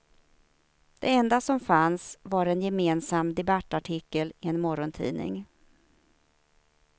Det enda som fanns var en gemensam debattartikel i en morgontidning.